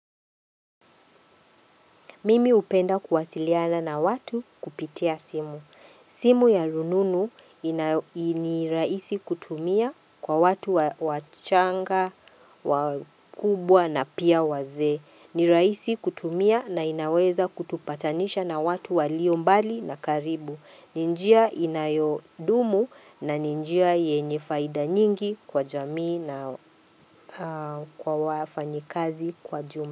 Mimi hupenda kuwasiliana na watu kupitia simu. Simu ya rununu ni rahisi kutumia kwa watu wachanga, wakubwa na pia wazee. Ni rahisi kutumia na inaweza kutupatanisha na watu waliombali na karibu. Ni njia inayodumu na ni njia yenye faidha nyingi kwa jamii na kwa wafanyikazi kwa jumla.